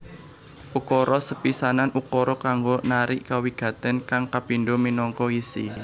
Ukara sepisanan ukara kanggo narik kawigatèn kang kapindho minangka isi